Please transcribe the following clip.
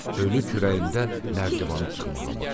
Ölü kürəyində nərdivanı çıxmağa başladı.